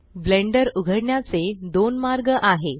blender उघडण्याचे दोन मार्ग आहे